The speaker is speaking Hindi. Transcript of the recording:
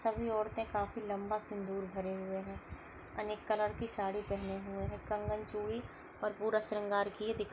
सभी औरते काफी लंबा सिंधुर भरे हुए है अनेक कलर की साडी पहने हुए है कंगन चूची और पूरा शृंगार किए दिख --